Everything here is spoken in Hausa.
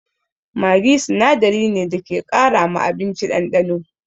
Maggi sinadari ne da ke ƙara ma abinci ɗanɗano.